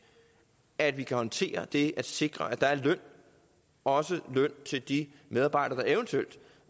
at vi kan håndtere det at sikre at der er løn også løn til de medarbejdere